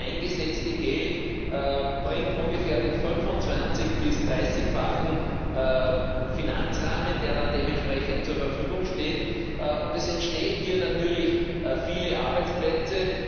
Das eingesetzte Geld bringt ungefähr den 25 bis 30 fachen Finanzrahmen, der dann dementsprechend zur Verfügung steht, und es entstehen natürlich viele Arbeitsplätze.